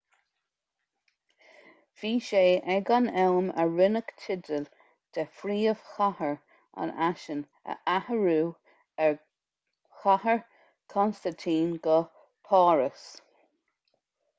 bhí sé ag an am a rinneadh teideal de phríomhchathair an fhaisin a athrú ó chathair chonstaintín go páras